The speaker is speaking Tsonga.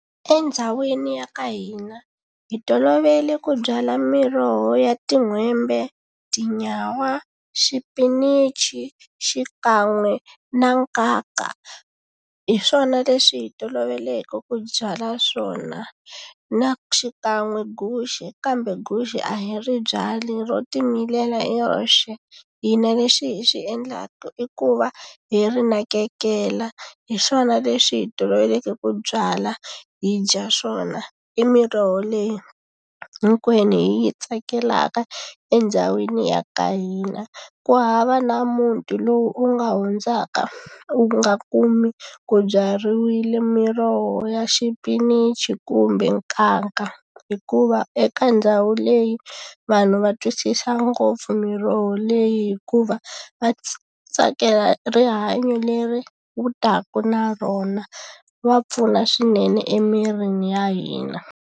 Endhawini ya ka hina hi tolovele ku byala miroho ya tin'hwembe tinyawa xipinichi xikan'we na nkaka hi swona leswi hi toloveleke ku byala swona na xikan'we guxe kambe guxe a hi ri byali ro timilela hi roxe hina lexi hi xi endlaka i ku va hi ri nakekela hi swona leswi hi toloveleke ku byala hi dya swona i miroho leyi hinkwenu hi yi tsakelaka endhawini ya ka hina ku hava na muti lowu u nga hundzaka u nga kumi ku byariwile miroho ya xipinichi kumbe nkanka hikuva eka ndhawu leyi vanhu va twisisa ngopfu miroho leyi hikuva va tsakela rihanyo leri wu taka na rona va pfuna swinene emirini ya hina.